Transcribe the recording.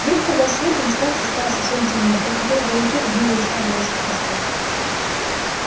вдруг погас свет и на станции стало совсем темно только где-то вдалеке видны были слабые отсветы костра